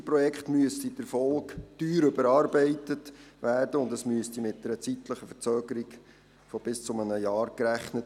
Das Siegerprojekt müsste teuer überarbeitet werden, und man müsste mit einer zeitlichen Verzögerung von bis zu einem Jahr rechnen.